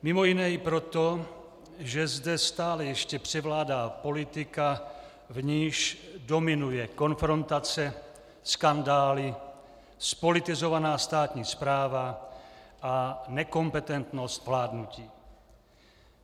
Mimo jiné i proto, že zde stále ještě převládá politika, v níž dominuje konfrontace, skandály, zpolitizovaná státní správa a nekompetentnost vládnutí.